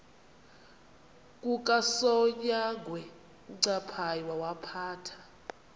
kukasonyangwe uncaphayi wawaphatha